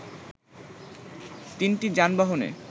তিনটি যানবাহনে